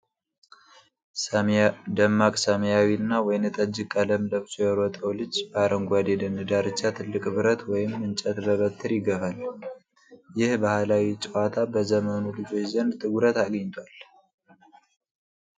ደማቅ ሰማያዊና ወይንጠጅ ቀለም ለብሶ የሮጠው ልጅ በአረንጓዴው የደን ዳርቻ ትልቅ ብረት ወይም እንጨት በበትር ይገፋል። ይህ ባህላዊ ጨዋታ በዘመኑ ልጆች ዘንድ ትኩረት አግኝቷል?